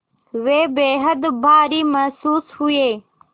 वे बेहद भारी महसूस हुए